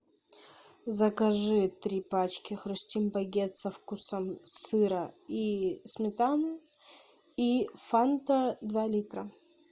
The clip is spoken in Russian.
закажи три пачки хрустим багет со вкусом сыра и сметаны и фанта два литра